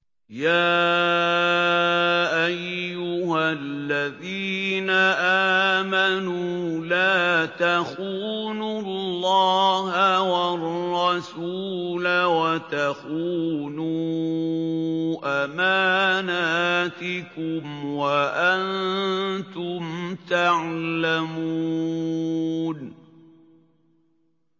يَا أَيُّهَا الَّذِينَ آمَنُوا لَا تَخُونُوا اللَّهَ وَالرَّسُولَ وَتَخُونُوا أَمَانَاتِكُمْ وَأَنتُمْ تَعْلَمُونَ